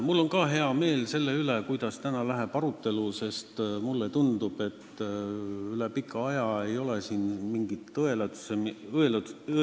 Mul on ka hea meel selle üle, kuidas täna arutelu läheb, sest mulle tundub, et üle pika aja ei ole siin mingit õelutsemist.